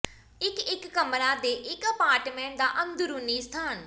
ਇੱਕ ਇੱਕ ਕਮਰਾ ਦੇ ਇੱਕ ਅਪਾਰਟਮੈਂਟ ਦਾ ਅੰਦਰੂਨੀ ਸਥਾਨ